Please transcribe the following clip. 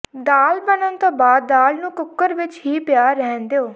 ਦਾਲ ਬਣਨ ਤੋਂ ਬਾਅਦ ਦਾਲ ਨੂੰ ਕੂਕਰ ਵਿੱਚ ਹੀ ਪਿਆ ਰਹਿਣ ਦਿਉ